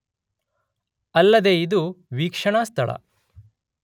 ಅಲ್ಲದೇ ಇದು ವೀಕ್ಷಣಾ ಸ್ಥಳ